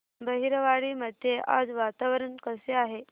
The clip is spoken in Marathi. बहिरवाडी मध्ये आज वातावरण कसे आहे